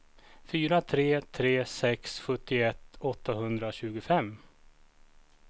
fyra tre tre sex sjuttioett åttahundratjugofem